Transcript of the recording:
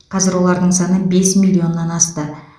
қазір олардың саны бес миллионнан асты